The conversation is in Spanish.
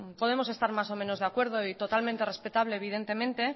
podemos estar mas o menos de acuerdo y totalmente respetable evidentemente